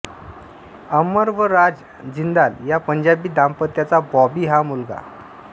अमर व राज जिंदाल या पंजाबी दांपत्याचा बॉबी हा मुलगा